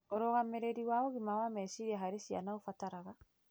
Ũrũgamĩrĩri wa ũgima wa meciria harĩ ciana ũbataraga